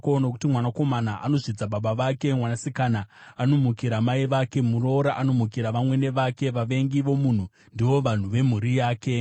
Nokuti mwanakomana anozvidza baba vake, mwanasikana anomukira mai vake, muroora anomukira vamwene vake; vavengi vomunhu ndivo vanhu vemhuri yake.